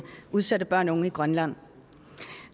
udsatte børn og unge i grønland